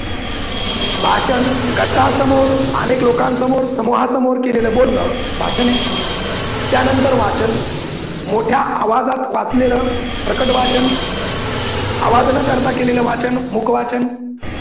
भाषण गटासमोर, अनेक लोकांसमोर, समूहासमोर केलेलं बोलन भाषण आहे. त्यानंतर वाचन मोठ्या आवाजात वाचलेलं प्रकट वाचन, आवाज न करता केलेलं वाचन मुख वाचन.